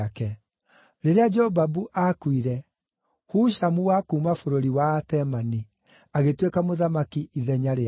Rĩrĩa Jobabu aakuire, Hushamu wa kuuma bũrũri wa Atemani agĩtuĩka mũthamaki ithenya rĩake.